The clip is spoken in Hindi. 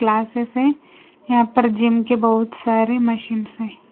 क्लासेस हैं यहां पर जिम के बहुत सारे मशीन्स हैं।